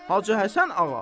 Hacı Həsən ağa.